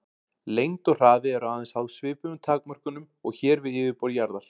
Lengd og hraði eru aðeins háð svipuðum takmörkunum og hér við yfirborð jarðar.